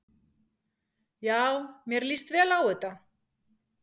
Já mér líst vel á þetta.